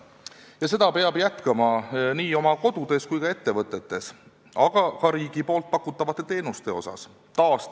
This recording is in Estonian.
... ja seda joont peab jätkama nii kodudes kui ka ettevõtetes, aga ka riigi pakutavate teenuste puhul.